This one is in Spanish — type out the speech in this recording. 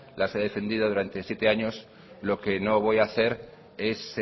las he defendido durante siete años lo que no voy a hacer es